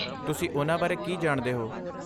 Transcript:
ਤੁਸੀਂ ਉਨ੍ਹਾਂ ਬਾਰੇ ਕੀ ਜਾਣਦੇ ਹੋ?